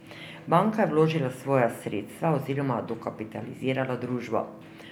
Banka je vložila svoja sredstva oziroma dokapitalizirala družbo.